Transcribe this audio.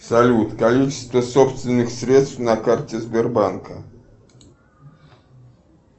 салют количество собственных средств на карте сбербанка